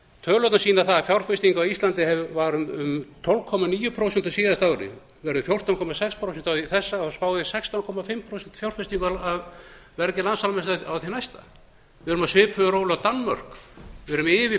tölurnar sýna að fjárfesting á íslandi var um tólf komma níu prósent á síðasta ári verður fjórtán komma sex prósent á þessu og spáð er sextán og hálft prósent fjárfestingu af vergri landsframleiðslu á því næsta við erum á svipuðum róli og danmörk við erum yfir